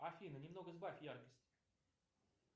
афина немного сбавь яркость